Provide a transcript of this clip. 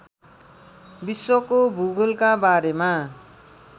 विश्वको भूगोलका बारेमा